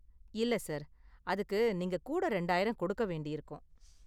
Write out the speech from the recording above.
இல்ல, சார். அதுக்கு நீங்க கூட ரெண்டாயிரம் கொடுக்க வேண்டியிருக்கும்.